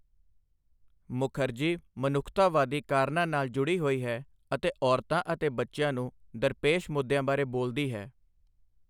ਮੁਖਰਜੀ ਮਨੁੱਖਤਾਵਾਦੀ ਕਾਰਨਾਂ ਨਾਲ ਜੁੜੀ ਹੋਈ ਹੈ ਅਤੇ ਔਰਤਾਂ ਅਤੇ ਬੱਚਿਆਂ ਨੂੰ ਦਰਪੇਸ਼ ਮੁੱਦਿਆਂ ਬਾਰੇ ਬੋਲਦੀ ਹੈ।